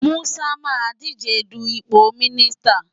Musa máa díje du ipò mínísítà.